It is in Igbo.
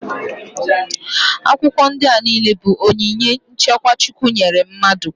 Akwụkwọ ndị a niile bụ onyinye nchekwa Chukwu nyere mmadụ.